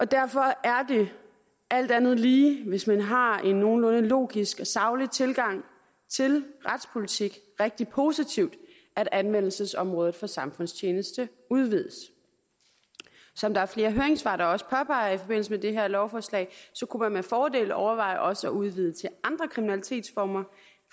derfor er det alt andet lige hvis man har en nogenlunde logisk og saglig tilgang til retspolitik rigtig positivt at anvendelsesområdet for samfundstjeneste udvides som der er flere høringssvar der også påpeger i forbindelse med det her lovforslag kunne man med fordel overveje også at udvide til andre kriminalitetsformer